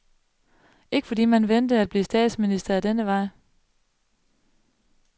Ikke fordi man ventede at blive statsminister ad denne vej.